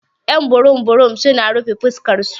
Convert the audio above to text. Y'an burum burum su na rufe fuskan su.